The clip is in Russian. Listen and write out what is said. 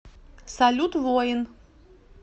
салют воин